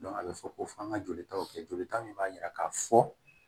a bɛ fɔ ko fɔ an ka joli taw kɛ jolita min b'a jira k'a fɔ